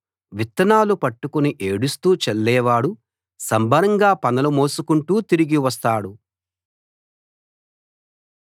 విత్తనాలు చేతబట్టుకుని ఏడుస్తూ చల్లేవాడు సంబరంగా పనలు మోసుకుంటూ తిరిగి వస్తాడు